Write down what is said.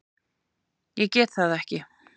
Ég get það ekki